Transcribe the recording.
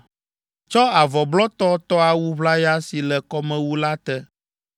“Tsɔ avɔ blɔtɔ tɔ awu ʋlaya si le kɔmewu la te,